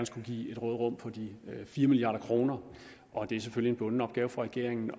skulle give et råderum på de fire milliard kr og det er selvfølgelig en bunden opgave for regeringen